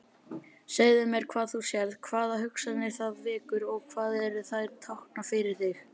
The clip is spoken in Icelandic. Segðu mér hvað þú sérð, hvaða hugsanir það vekur og hvað þær tákna fyrir þig.